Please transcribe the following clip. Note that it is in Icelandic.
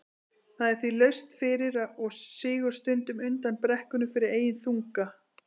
Það er því laust fyrir og sígur stundum undan brekkunni fyrir eigin þunga.